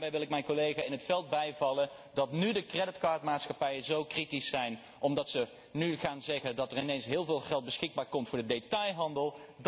En daarin wil ik mijn collega In 't Veld bijvallen, namelijk dat nu de creditcardmaatschappijen zo kritisch zijn, omdat zij nu zeggen dat er ineens heel veel geld beschikbaar komt voor de detailhandel.